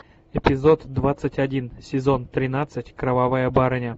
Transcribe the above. эпизод двадцать один сезон тринадцать кровавая барыня